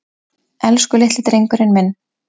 Elsku litli drengurinn minn.